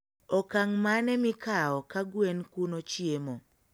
okang' mane mikao ka gwen kuono chiemo?